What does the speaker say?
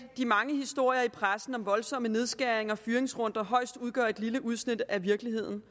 de mange historier i pressen om voldsomme nedskæringer og fyringsrunder højst udgør et lille udsnit af virkeligheden